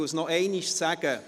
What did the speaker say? Ich sage es noch einmal: